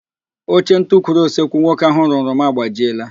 Oche ntukwuru osekwu nwoke ahụ rụrụ m agbajiela